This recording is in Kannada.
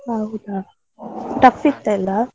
ಹೌದಾ, tough ಇತ್ತ ಎಲ್ಲ.